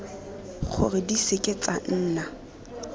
gore di seke tsa nna